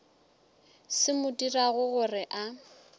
se mo dirago gore a